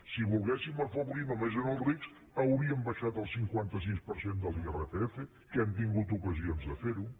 si volguéssim afavorir només els rics hauríem abaixat el cinquanta sis per cent de l’irpf que hem tingut ocasions de fer ho